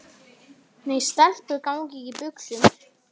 Nei, stelpur ganga ekki í buxum.